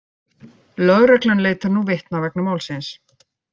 Lögreglan leitar nú vitna vegna málsins